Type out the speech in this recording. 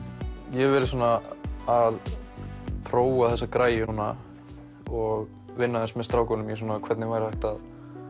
ég hef verið svona að prófa þessa græju núna og vinna aðeins með strákunum í því hvernig væri hægt að